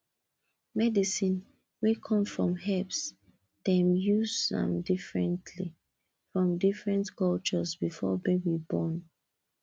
medicine wey come from herbs dem use am differently for different cultures before baby born